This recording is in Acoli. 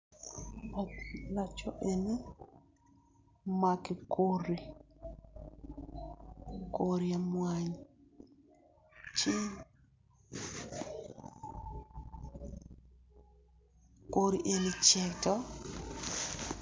Laco eni omako kodi, kodi mwany ci kogi eni ockeo.